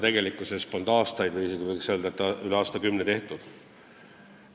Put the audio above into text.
Tegelikkuses polnud aastaid või võiks öelda, et isegi üle aastakümne midagi sellist tehtud.